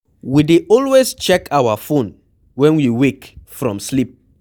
We dey always check our phone when we wake from sleep